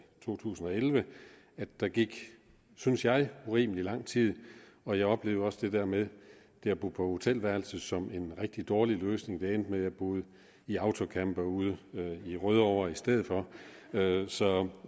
to tusind og elleve at der gik synes jeg urimelig lang tid og jeg oplevede også det der med at bo på hotelværelse som en rigtig dårlig løsning det endte med at jeg boede i autocamper ude i rødovre i stedet for så